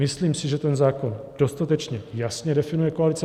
Myslím si, že ten zákon dostatečně jasně definuje koalici.